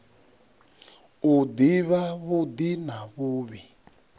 u ḓivha vhuḓi na vhuvhi